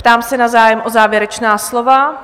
Ptám se na zájem o závěrečná slova.